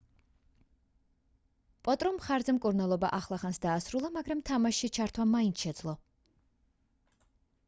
პოტრომ მხარზე მკურნალობა ახლახანს დაასრულა მაგრამ თამაშში ჩართვა მაინც შეძლო